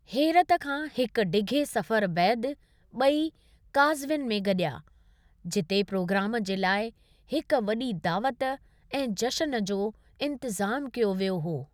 हेरत खां हिकु डिघे सफ़रु बैदि ॿई काज़विन में गडि॒या, जिते प्रोग्रामु जे लाइ हिकु वॾी दावत ऐं जश्न जो इंतजामु कयो वियो हो।